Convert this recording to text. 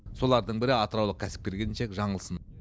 солардың бірі атыраулық кәсіпкер келіншек жаңылсын